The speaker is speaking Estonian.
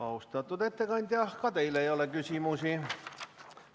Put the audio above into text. Austatud ettekandja, ka teile ei ole küsimusi.